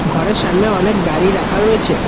ঘরের সামনে অনেক গাড়ি রাখা রয়েছে।